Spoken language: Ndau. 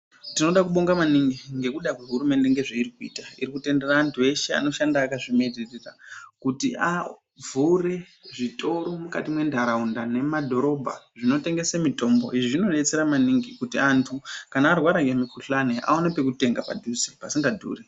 Tinoda kubonga maningi ngekuda kwehurumende zvairi kuita iri kutendera antu eshe anoshanda akazvimiririra kuti avhure zvitoro mukati mentaraunda nemadhorobha, izvi zvinodetsere maningi kuti antu kana arwara ngemukuhlani awane pekutenga padhuze pasinga dhuri.